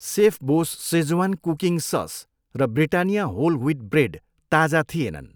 सेफबोस Schezwan cooking sauce र Britannia whole wheat bread ताजा थिएनन्।